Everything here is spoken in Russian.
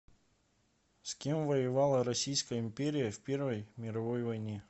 с кем воевала российская империя в первой мировой войне